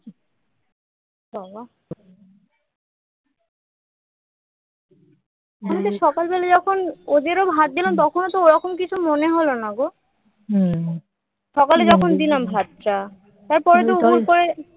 আমি তো সকাল বেলা যখন ওদেরও ভাত দিলাম তখনো ও ওরকম কিছু মনে হলো না গো সকালে যখন দিলাম ভাতটা তারপরে উপুড় করে